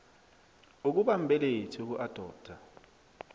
ukuba mbelethi ukuadoptha